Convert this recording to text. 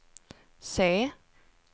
C